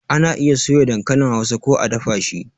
Ana iya soya dankalin Hausa ko a dafa shi